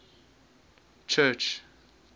church